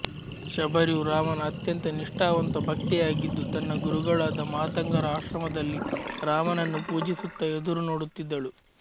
ಶಬರಿಯು ರಾಮನ ಅತ್ಯಂತ ನಿಷ್ಟಾವಂತ ಭಕ್ತೆಯಾಗಿದ್ದು ತನ್ನ ಗುರುಗಳಾದ ಮಾತಂಗರ ಆಶ್ರಮದಲ್ಲಿ ರಾಮನನ್ನು ಪೂಜಿಸುತ್ತಾ ಎದುರುನೋಡುತ್ತಿದ್ದಳು